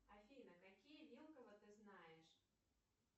афина какие вилкова ты знаешь